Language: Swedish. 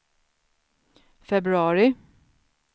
februari